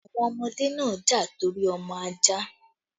The children fought over the puppy